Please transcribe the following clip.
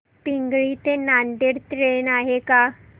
पिंगळी ते नांदेड ट्रेन आहे का